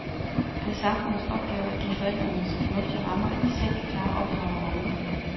Det er samfundets opgave at give forældrene så fornuftige rammer, at de selv kan klare opdragerrollen.